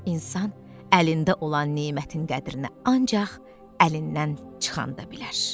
İnsan əlində olan nemətin qədrini ancaq əlindən çıxanda bilər.